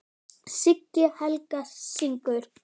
Siggi Helga: Syngur?